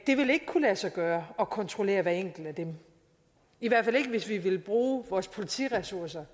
det vil ikke kunne lade sig gøre at kontrollere hver enkelt af dem i hvert fald ikke hvis vi vil bruge vores politiressourcer